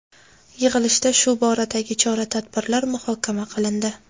Yig‘ilishda shu boradagi chora-tadbirlar muhokama qilindi.